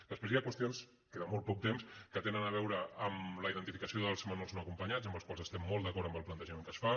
després hi ha qüestions queda molt poc temps que tenen a veure amb la identificació dels menors no acompanyats amb els quals estem molt d’acord amb el plantejament que es fa